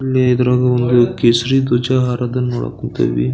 ಇಲ್ಲಿ ಇದ್ರಾಗ ಒಂದು ಕೇಸರಿ ಧ್ವಜ ಹಾರೋದನ್ನ ನೋಡಾಕ್ ಕುಂತೇವಿ.